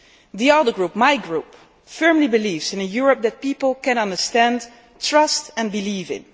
here. The other group, my group, firmly believes in a Europe which people can understand, trust and believe